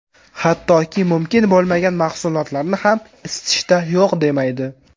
Hattoki, mumkin bo‘lmagan mahsulotlarni ham isitishda yo‘q demaydi.